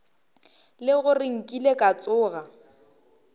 le gore nkile ka tsoga